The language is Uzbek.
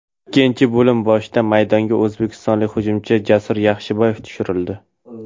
Ikkinchi bo‘lim boshida maydonga o‘zbekistonlik hujumchi Jasur Yaxshiboyev tushirildi.